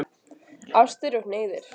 Ástir og hneigðir